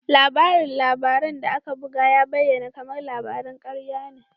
Labarin labaran da aka buga ya bayyana kamar labaran karya ne.